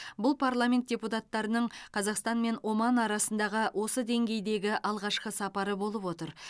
бұл парламент депутаттарының қазақстан мен оман арасындағы осы деңгейдегі алғашқы сапары болып отыр